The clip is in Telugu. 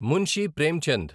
మున్షి ప్రేమ్చంద్